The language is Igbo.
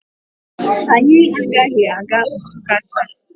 Anyị agaghị aga Nsụka taa